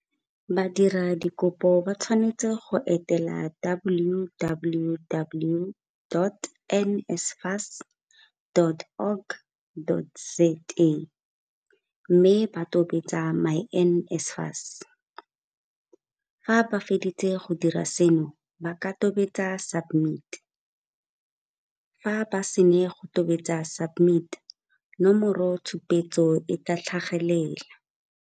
Badiradikopo ba tshwanetse go etela www.nsfas.org.za mme ba tobetse myNSFAS. Fa ba feditse go dira seno, ba ka tobetsa SUBMIT. Fa ba sena go tobetsa SUBMIT, nomoro tshupetso e tla tlhagelela.